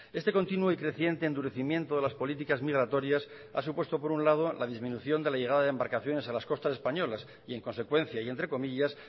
este continuo y creciente endurecimiento de las políticas migratorias ha supuesto por un lado la disminución de la llegada de embarcaciones a las costas españolas y en consecuencia y entre comillas